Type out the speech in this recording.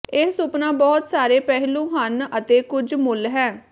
ਇਹ ਸੁਪਨਾ ਬਹੁਤ ਸਾਰੇ ਪਹਿਲੂ ਹਨ ਅਤੇ ਕੁਝ ਮੁੱਲ ਹੈ